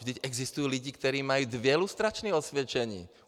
Vždyť existují lidi, kteří mají dvě lustrační osvědčení.